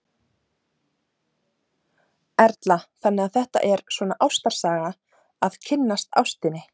Erla: Þannig að þetta er svona ástarsaga, að kynnast ástinni?